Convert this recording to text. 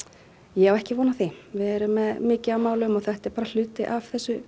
ég á ekki von á því við erum með mikið af málum og þetta er bara hluti af þessu